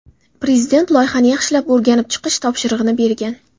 Prezident loyihani yaxshilab o‘rganib chiqish topshirig‘ini bergan.